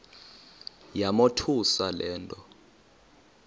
yamothusa le nto